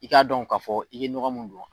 I k'a dɔn ka fɔ i ye ɲɔgɔ min don.